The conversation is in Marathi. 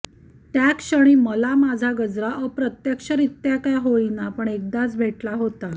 त्याक्षणी मला माझा गजरा अप्रत्यक्षरित्या का होईना पण एकदाचा भेटला होता